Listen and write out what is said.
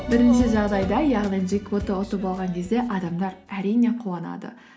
бірінші жағдайда яғни джекпотты ұтып алған кезде адамдар әрине қуанады